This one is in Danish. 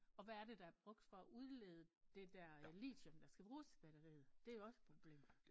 Og hvad er det der er brugt for at udlede det der øh litium der skal bruges til batteriet? Det jo også et problem